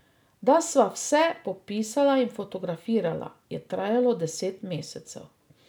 Da sva vse popisala in fotografirala, je trajalo deset mesecev.